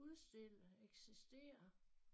Udstille eksistere